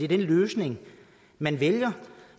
den løsning man vælger